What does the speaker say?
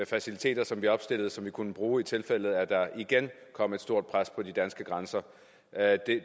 faciliteter som vi opstillede og som vi kunne bruge i tilfælde af at der igen kom et stort pres på de danske grænser